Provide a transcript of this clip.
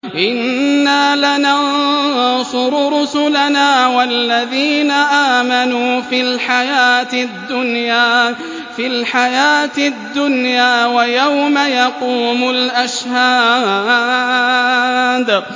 إِنَّا لَنَنصُرُ رُسُلَنَا وَالَّذِينَ آمَنُوا فِي الْحَيَاةِ الدُّنْيَا وَيَوْمَ يَقُومُ الْأَشْهَادُ